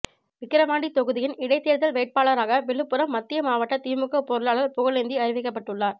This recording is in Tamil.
விக்கிரவாண்டி தொகுதியின் இடைத்தேர்தல் வேட்பாளராக விழுப்புரம் மத்திய மாவட்ட திமுக பொருளாளர் புகழேந்தி அறிவிக்கப்பட்டுள்ளார்